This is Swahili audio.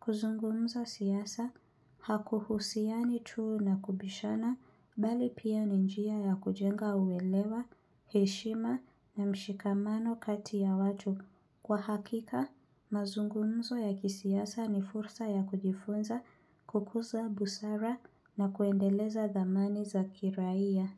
Kuzungumza siasa, hakuhusiani tu na kubishana, bali pia ni njia ya kujenga uelewa, heshima na mshikamano kati ya watu. Kwa hakika, mazungumzo ya kisiasa ni fursa ya kujifunza kukuza busara na kuendeleza dhamani za kiraia.